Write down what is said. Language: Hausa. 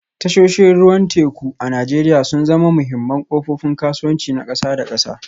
Tashoshin ruwan teku a Najeriya sun zama muhimman kofofin kasuwanci na kasa da kasa